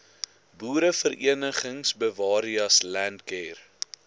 boereverenigings bewareas landcare